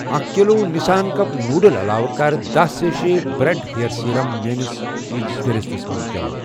اَکھ kilo Nissin cup noodle علاو کَر دہ سیشے بِرؠڈ ہیر سِرم میٲنِس چیٖزٕ فہرستس منٛز جمع